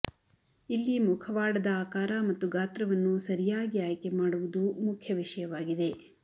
ಇಲ್ಲಿ ಮುಖವಾಡದ ಆಕಾರ ಮತ್ತು ಗಾತ್ರವನ್ನು ಸರಿಯಾಗಿ ಆಯ್ಕೆಮಾಡುವುದು ಮುಖ್ಯ ವಿಷಯವಾಗಿದೆ